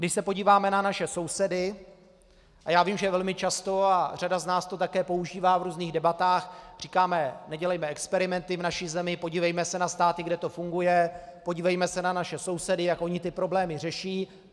Když se podíváme na naše sousedy - a já vím, že velmi často, a řada z nás to také používá v různých debatách, říkáme: nedělejme experimenty v naší zemi, podívejme se na státy, kde to funguje, podívejme se na naše sousedy, jak oni ty problémy řeší.